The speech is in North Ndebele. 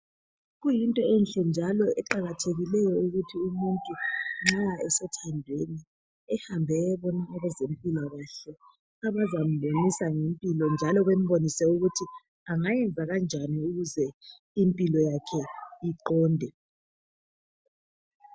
Kuyinto enhle njalo eqakathekileyo ukuthi umuntu nxa esethandweni ehambe eyebona abezempilakahle abazambonisa ngempilo njalo bembonise ukuthi angayenza kanjani ukuze impilo yakhe iqonde.